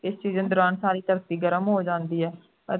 ਇਸ season ਦੌਰਾਨ ਸਾਰੀ ਧਰਤੀ ਗਰਮ ਹੋ ਜਾਂਦੀ ਹੈ ਅਤੇ